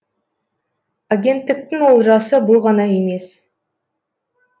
агенттіктің олжасы бұл ғана емес